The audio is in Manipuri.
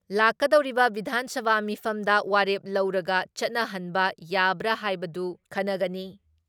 ꯂꯥꯛꯀꯗꯧꯔꯤꯕ ꯕꯤꯙꯥꯟ ꯁꯚꯥ ꯃꯤꯐꯝꯗ ꯋꯥꯔꯦꯞ ꯂꯧꯔꯒ ꯆꯠꯅꯍꯟꯕ ꯌꯥꯕ꯭ꯔꯥ ꯍꯥꯏꯕꯗꯨ ꯈꯟꯅꯒꯅꯤ ꯫